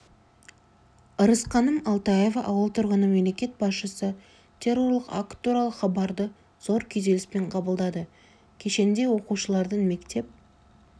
ырысқаным алтаева ауыл тұрғыны мемлекет басшысы террорлық акт туралы хабарды зор күйзеліспен қабылдады кешенде оқушылардың мектеп